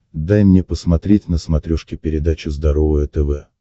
дай мне посмотреть на смотрешке передачу здоровое тв